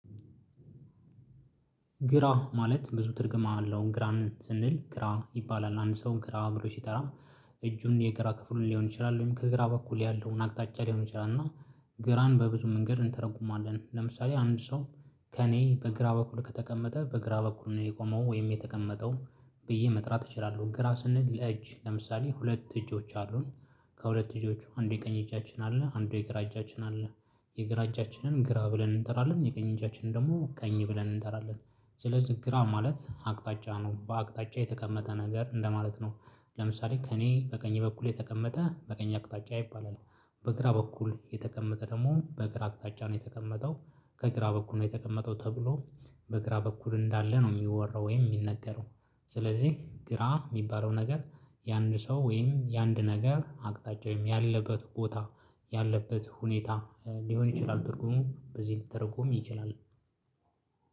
ግራ ማለት ብዙ ትርጉም አለው ግራን ስንል ግራ ይባላል አንድ ሰው ግራ ብሎ ሲጠራ። እጁን የግራ ክፍሉ ሊሆን ይችላል ወይም ከግራ በኩል ያለውን አቅጣጫ ሊሆን ይችላል እና። ግራን በብዙ መንገድ እንተረጉማለን ለምሳሌ አንድ ሰው። ከእኔ በግራ በኩል ከተቀመጠ በግራ በኩል ነው የቆመው ወይም የተቀመጠው። ብዬ መጥራት እችላለሁ ግራ ስንል ለእጅ ለምሳሌ ሁለት እጆች አሉን። ከሁለት እጆቹ አንዱ የቀኝ እጃችን አለ አንዱ የግራ እጃችን አለ። የግራ እጃችንን ግራ ብለን እንጠራለን የቀኝ እጃችንን ደግሞ ቀኝ ብለን እንተራለን። ስለዚህ ግራ ማለት አቅጣጫ ነው በአቅጣጫ የተቀመጠ ነገር እንደማለት ነው። ለምሳሌ ከእኔ በቀኝ በኩል የተቀመጠ በቀኝ አቅጣጫ ይባላል። በግራ በኩል የተቀመጠ ደግሞ በግራ አቅጣጫ ነው የተቀመጠው። ከእግራ በኩል ነው የተቀመጠው ተብሎ። በእግራ በኩል እንዳለ ነው የሚወራው ወይም የሚነገረው። ስለዚህ ግራ የሚባለው ነገር የአንድ ሰው ወይም የአንድ ነገር አቅጣጫ ወይም ያለበት ቦታ ያለበት ሁኔታ ሊሆን ይችላል። ትርጉሙ በዚህ ሊተረጎም ይችላል።